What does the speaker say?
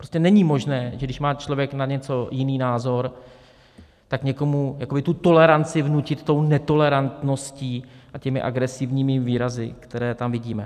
Prostě není možné, že když má člověk na něco jiný názor, tak někomu tu toleranci vnutit tou netolerantností a těmi agresivními výrazy, které tam vidíme.